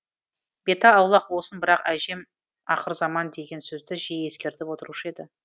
беті аулақ болсын бірақ әжем ақырзаман деген сөзді жиі ескертіп отырушы еді